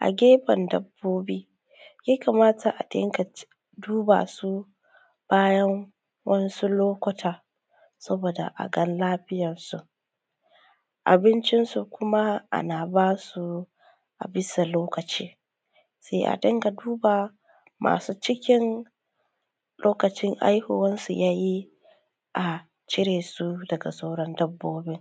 a gefe dabbobi ya kamata a dunga duba su bayan wasu lokuta saboda aga lafiyan su. Abincin su kuma ana basu a bisa lokaci sai a dinga duba masu cikin lokacin haihuwan su yayi a cire su daga sauran dabbobi